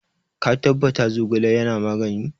Ka tabbata Zogale yana magani?